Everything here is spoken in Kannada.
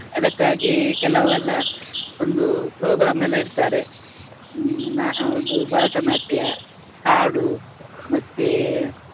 ಅದಕ್ಕಾಗಿ ಕೆಲವೆಲ್ಲ ಒಂದು program ಎಲ್ಲ ಇಟ್ತಾರೆ. ಹ್ಮ್ ನ~ ಅದು ಭರತನಾಟ್ಯ, ಹಾಡು ಮತ್ತೆ